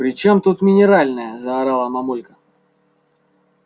при чем тут минеральная заорала мамулька